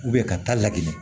ka taa lagili